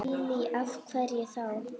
Lillý: Af hverju þá?